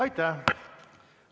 Aitäh!